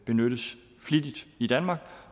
benyttes flittigt i danmark